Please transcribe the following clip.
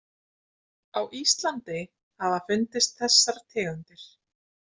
Á Íslandi hafa fundist þessar tegundir